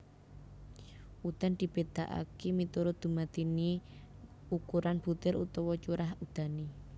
Udan dibedakaké miturut dumadiné ukuran butir utawa curah udané